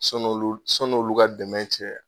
Sɔni olu olu ka dɛmɛ cɛ